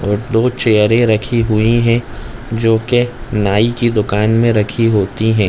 एक दो चेयरे रखी हुई है जो के नाई की दुकान में रखी होती है।